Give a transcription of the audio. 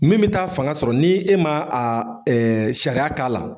Min bɛ taa fanga sɔrɔ ni e ma aa sariya k'a la